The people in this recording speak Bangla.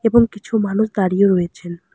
এবং কিছু মানুষ দাঁড়িয়ে রয়েছেন।